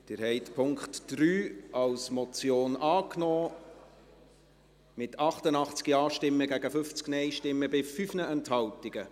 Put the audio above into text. Sie haben den Punkt 3 als Motion angenommen, mit 88 Ja- zu 50 Nein-Stimmen bei 5 Enthaltungen.